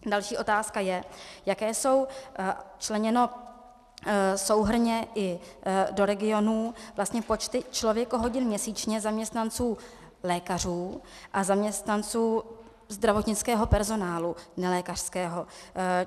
Další otázka je, jak jsou členěny souhrnně i do regionů vlastně počty člověkohodin měsíčně zaměstnanců lékařů a zaměstnanců zdravotnického personálu nelékařského.